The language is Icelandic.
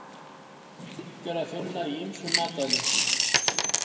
Sink er að finna í ýmsum í matvælum.